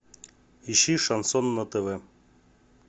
ищи шансон на тв